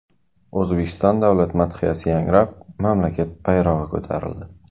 O‘zbekiston davlat madhiyasi yangrab, mamlakat bayrog‘i ko‘tarildi.